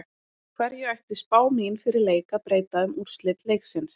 Hverju ætti spá mín fyrir leik að breyta um úrslit leiksins?